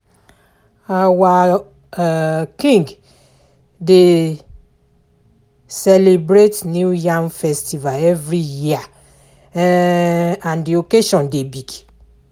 Our um King dey um celebrate new yam festival every year um and the occasion dey big